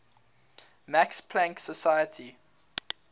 max planck society